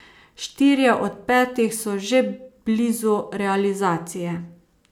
Štirje od petih so že blizu realizacije.